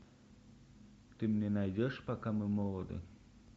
ты мне найдешь пока мы молоды